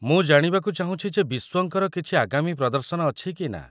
ମୁଁ ଜାଣିବାକୁ ଚାହୁଁଛି ଯେ ବିସ୍ୱଙ୍କର କିଛି ଆଗାମୀ ପ୍ରଦର୍ଶନ ଅଛି କି ନା।